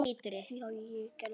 Já já, ég gerði það.